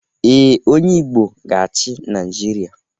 Ee, onye Igbo ga-achị Naijiria?